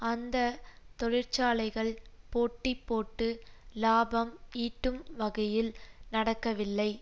அந்த தொழிற்சாலைகள் போட்டி போட்டு இலாபம் ஈட்டும் வகையில் நடக்கவில்லை